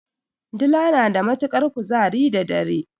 Dila na da matuƙar kuzari da dare.